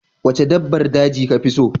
Waca dabbar daji kafi tsaro?